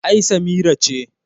ai Samira ce